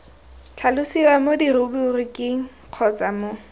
tlhalosiwa mo diruburiking kgotsa mo